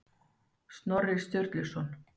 Snorri Sturluson.